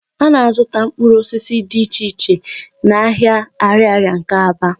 A na-azụta mkpụrụ osisi di iche iche n'ahịa Ạrịarịa nke Aba.